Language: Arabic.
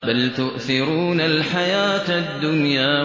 بَلْ تُؤْثِرُونَ الْحَيَاةَ الدُّنْيَا